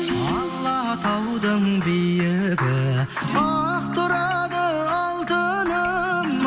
алатаудың биігі ақ тұрады алтыным